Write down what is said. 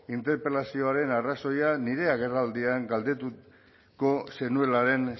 interpelazioaren arrazoia nire agerraldian galdetuko zenuelaren